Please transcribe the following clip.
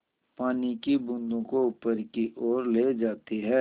पानी की बूँदों को ऊपर की ओर ले जाती है